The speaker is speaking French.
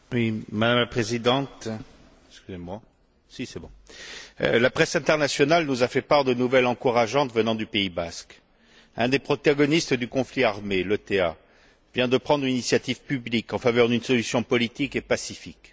Madame la Présidente, la presse internationale nous a fait part de nouvelles encourageantes venant du Pays basque. Un des protagonistes du conflit armé, l'ETA, vient de prendre une initiative publique en faveur d'une solution politique et pacifique.